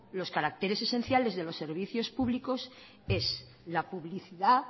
los caracteres esenciales de los servicios públicos es la publicidad